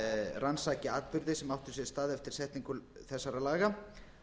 rannsaki atburði sem áttu sér stað eftir setningu þessara laga